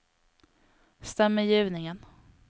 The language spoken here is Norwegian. stemmegivningen